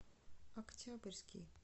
октябрьский